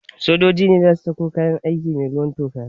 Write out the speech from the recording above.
Sojoji ne za su sako kayan aiki mai ruwan toka